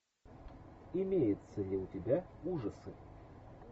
имеется ли у тебя ужасы